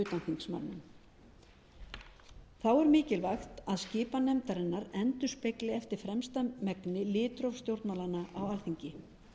þá er mikilvægt að skipan nefndarinnar endurspegli eftir fremsta megni litróf stjórnmálanna á alþingi